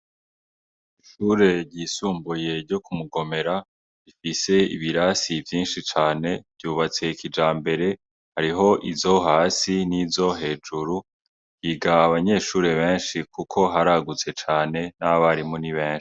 Ishure ryisumbuye ryo Kumugomera rifise ibirasi vyinshi cane ryubatse kijambere hariho izo hasi n'izo hejuru higa abanyeshure benshi kuko haragutse cane n' abarimu ni benshi.